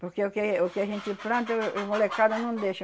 Porque o que o que a gente planta, molecada não deixa.